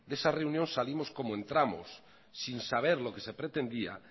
de esa reunión salimos como entramos sin saber lo que se pretendía